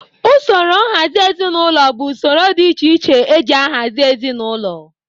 Usoro nhazị ezinaụlọ bụ usoro dị iche iche e ji ahazị ezinaụlọ.